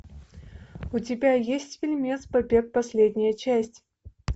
у тебя есть фильмец побег последняя часть